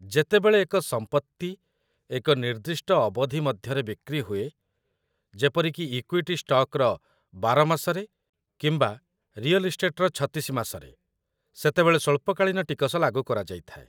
ଯେତେବେଳେ ଏକ ସମ୍ପତ୍ତି ଏକ ନିର୍ଦ୍ଦିଷ୍ଟ ଅବଧି ମଧ୍ୟରେ ବିକ୍ରି ହୁଏ, ଯେପରିକି ଇକ୍ୱିଟି ଷ୍ଟକ୍‌ର ୧୨ ମାସରେ କିମ୍ବା ରିଅଲ୍‌ ଇଷ୍ଟେଟ୍‌ର ୩୬ ମାସରେ, ସେତେବେଳେ ସ୍ୱଳ୍ପ-କାଳୀନ ଟିକସ ଲାଗୁ କରାଯାଇଥାଏ |